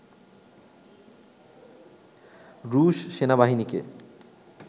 রুশ সেনাবাহিনীকে